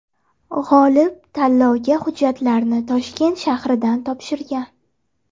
G‘olib tanlovga hujjatlarni Toshkent shahridan topshirgan.